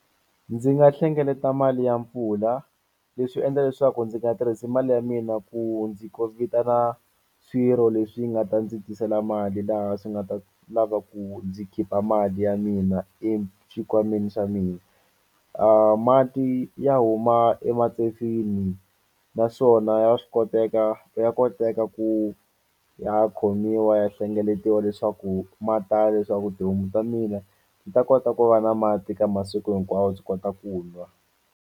Ndzi nga hlengeleta mali ya mpfula leswi endla leswaku ndzi nga tirhisi mali ya mina ku ndzi vitana swirho leswi nga ta ndzi tisela mali laha swi nga ta lava ku ndzi khipha mali ya mina exikhwameni xa mina. Mati ya huma naswona ya swi koteka ya koteka ku ya khomiwa ya hlengeletiwa leswaku ma tala leswaku tihomu ta mina ni ta kota ku va na mati ka masiku hinkwawo swi kota ku nwa.